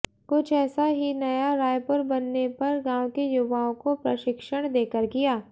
कुछ ऐसा ही नया रायपुर बनने पर गांव के युवाओं को प्रशिक्षण देकर किया